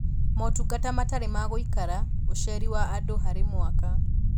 Motungata matarĩ ma gũikara; ũceri wa andũ harĩ mwaka